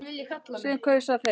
Sem kaus að þegja.